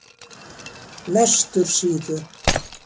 Vestursíðu